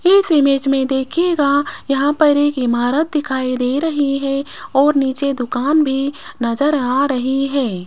इस इमेज में देखिएगा यहां पर एक इमारत दिखाई दे रही है और नीचे दुकान भी नजर आ रही है।